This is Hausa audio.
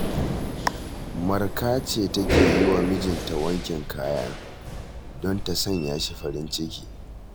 Marka ce take yi wa mijinta wankin kaya, don ta sanya shi farin ciki